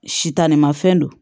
Sitani mafɛn don